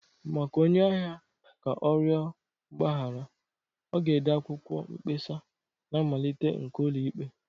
Maka onye ahịa ka ọ rịọ mgbaghara, ọ ga-ede akwụkwọ mkpesa na mmalite nke ụlọikpe